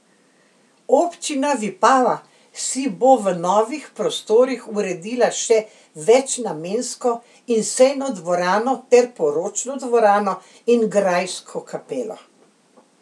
Občina Vipava si bo v novih prostorih uredila še večnamensko in sejno dvorano ter poročno dvorano in grajsko kapelo.